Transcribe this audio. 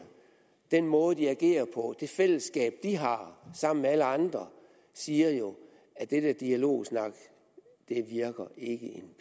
den måde de agerer på det fællesskab de har sammen med alle andre siger jo at det der dialogsnak ikke virker